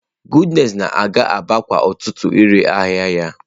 Goodness na-aga Aba kwa ụtụtụ ire ahịa ya.